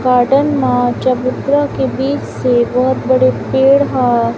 Garden मा चबूतरा के बीच से बहोत बड़े पेड़ ह ।